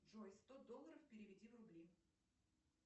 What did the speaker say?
джой сто долларов переведи в рубли